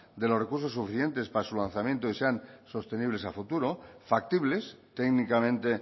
de los recursos suficientes para su lanzamiento y sean sostenibles a futuro factibles técnicamente